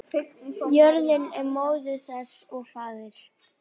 Jörðin er móðir þess og faðir.